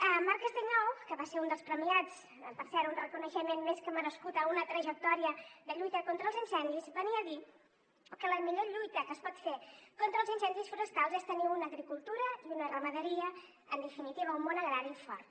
en marc castellnou que va ser un dels premiats per cert un reconeixement més que merescut a una trajectòria de lluita contra els incendis venia a dir que la millor lluita que es pot fer contra els incendis forestals és tenir una agricultura i una ramaderia en definitiva un món agrari fort